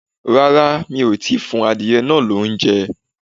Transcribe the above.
Rárá, mí o tí fun àdie naà lóunjẹ